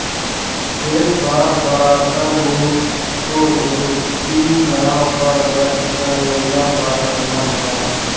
एक बार पाराशर मुनि को उसकी नाव पर बैठ कर यमुना पार करना पड़ा